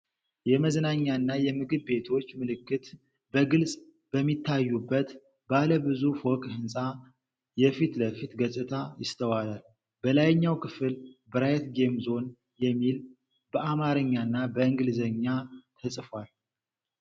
የመዝናኛና የምግብ ቤቶች ምልክት በግልጽ በሚታዩበት ባለ ብዙ ፎቅ ህንፃ የፊት ለፊት ገጽታ ይስተዋላል። በላይኛው ክፍል "ብራይት ጌም ዞን" የሚል በአማርኛና በእንግሊዝኛ ተጽፏል።